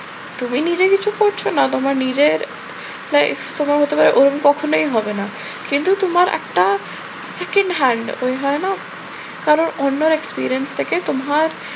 তুমি নিজে কিছু করছো না। তোমার তোমার নিজের life তোমার মত করে ওরম কখনোই হবে না। কিন্তু তোমার একটা eking hunt ওই হয় না কারো অন্যের experience থেকে তোমার